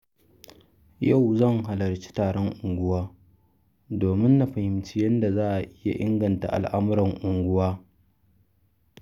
Yau zan halarci taron unguwa domin na fahimci yadda za a iya inganta al'amuran unguwa.